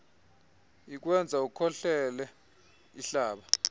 ikwenza ukhohlele ihlaba